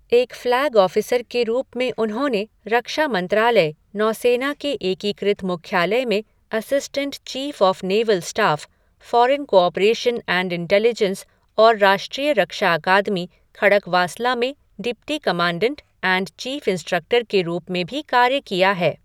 एक flag officer के रूप में उन्होंने रक्षा मंत्रालय, नौसेना के एकीकृत मुख्यालय में assistance chief of naval staff, foreign cooperation and intelligence और राष्ट्रीय रक्षा अकादमी, खड़कवासला में deputy commandant and chief instructor के रूप में भी कार्य किया है।